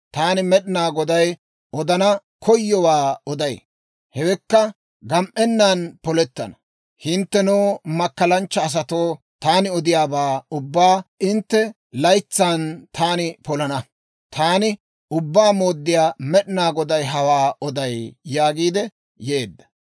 Taani Med'inaa Goday, odana koyowaa oday; hewekka gam"ennan polettana. Hinttenoo, makkalanchcha asatoo, taani odiyaabaa ubbaa hintte laytsan taani polana. Taani Ubbaa Mooddiyaa Med'inaa Goday hawaa oday» yaagiidde yeedda.